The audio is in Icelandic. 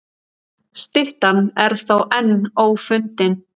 Styttan er þó enn ófundin.